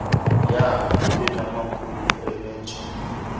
young ebenamaphupha enenjongo